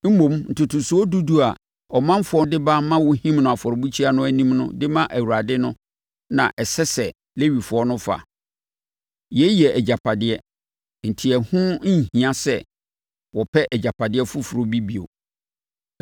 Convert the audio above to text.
Mmom, ntotosoɔ dudu a ɔmanfoɔ de ba ma wɔhim no afɔrebukyia no anim de ma Awurade no na ɛsɛ sɛ Lewifoɔ no fa. Yei yɛ agyapadeɛ, enti ɛho nhia sɛ wɔpɛ agyapadeɛ foforɔ bi bio.”